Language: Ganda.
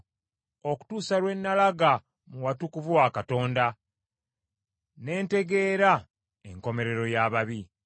okutuusa lwe nalaga mu watukuvu wa Katonda, ne ntegeera enkomerero y’ababi.